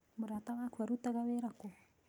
Mũrata waku ĩrutaga wĩra kũ?